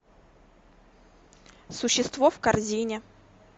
существо в корзине